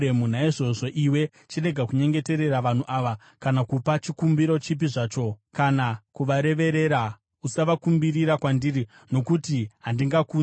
“Naizvozvo iwe chirega kunyengeterera vanhu ava kana kupa chikumbiro chipi zvacho kana kuvareverera; usavakumbirira kwandiri, nokuti handingakunzwi.